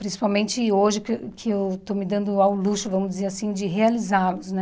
Principalmente hoje que eu que eu estou me dando ao luxo, vamos dizer assim, de realizá-los, né?